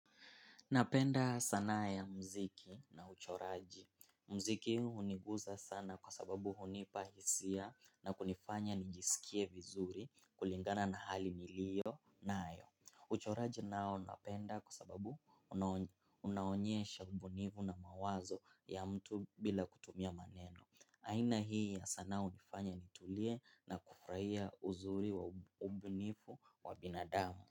Napenda sanaa ya mziki na uchoraji. Mziki uniguza sana kwa sababu hunipa hisia na kunifanya nijisikie vizuri kulingana na hali nilio nayo. Uchoraji nao napenda kwa sababu unaonyesha ubunivu na mawazo ya mtu bila kutumia maneno. Aina hii ya sanaa unifanya nitulie na kufuraia uzuri wa ubunifu wa binadamu.